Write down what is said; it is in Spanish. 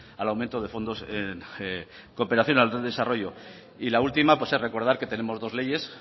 al aumento de fondos de cooperación del desarrollo la última es recordar que tenemos dos leyes